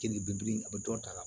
Keninge biri a bɛ dɔ ta a la